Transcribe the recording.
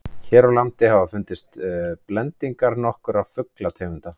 hér á landi hafa fundist blendingar nokkurra fuglategunda